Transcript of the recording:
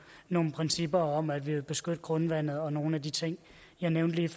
nogle principper om at vi vil beskytte grundvandet og nogle af de ting jeg nævnte lige